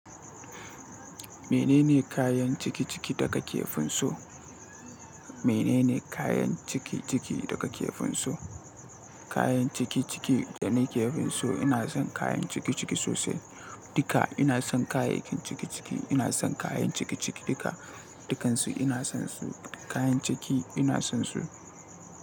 Menene kayan cikiciki daka kefin so? Menene kayan cikiciki daga kefin so? Kayan cikiciki da ne kefin so ina son kayan cikiciki sosai duka ina son kayayyakin cikiciki ina son kayan cikiciki duka dukansu ina son su kayan ciki ina son su.